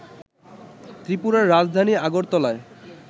ত্রিপুরার রাজধানী আগরতলায়